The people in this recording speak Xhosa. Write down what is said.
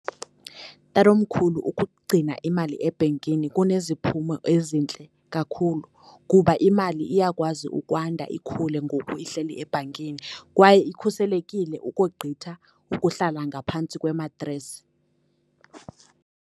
Tatomkhulu, ukugcina imali ebhenkini kuneziphumo ezintle kakhulu, kuba imali iyakwazi ukwanda ikhule ngoku ihleli ebhankini, kwaye ikhuselekile ukogqitha ukuhlala ngaphantsi kwematresi.